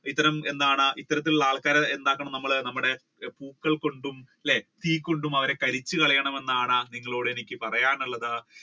ഇത്തരം എന്താണ് ഇത്തരത്തിലുള്ള ആൾക്കാരെ എന്താക്കണം നമ്മൾ നമ്മളുടെ പൂക്കൾ കൊടുത്തും അല്ലെ തീ കൊടുത്തും അവരെ കരിയിച്ചു കളയണമെന്നാണ് നിങ്ങളൊട് എനിക്ക് പറയാനുള്ളത്.